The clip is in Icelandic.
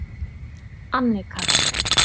Annika